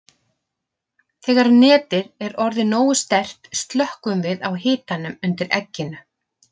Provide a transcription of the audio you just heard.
Þegar netið er orðið nógu sterkt slökkvum við á hitanum undir egginu.